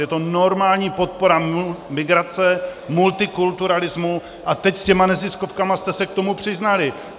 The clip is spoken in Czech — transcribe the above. Je to normální podpora migrace, multikulturalismu - a teď s těmi neziskovkami jste se k tomu přiznali.